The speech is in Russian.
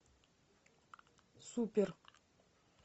супер